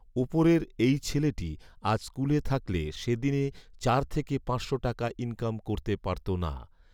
উপরের এই ছেলেটি আজ স্কুলে থাকলে সে দিনে চার থেকে পাঁচশো টাকা ইনকাম করতে পারতো না